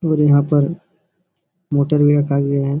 और यहां पर मोटर भी रखा गया है।